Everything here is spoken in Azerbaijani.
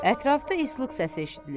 Ətrafda islıq səsi eşidilir.